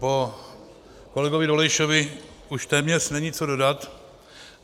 Po kolegovi Dolejšovi už téměř není co dodat.